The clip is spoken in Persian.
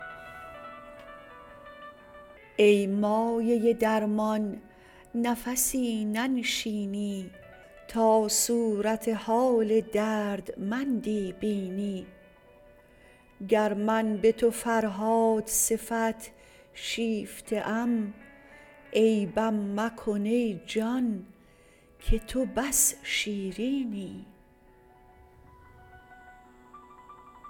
ای مایه درمان نفسی ننشینی تا صورت حال دردمندی بینی گر من به تو فرهاد صفت شیفته ام عیبم مکن ای جان که تو بس شیرینی